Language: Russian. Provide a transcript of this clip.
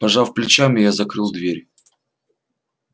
пожав плечами я закрыл дверь